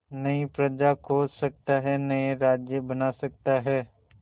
नई प्रजा खोज सकता है नए राज्य बना सकता है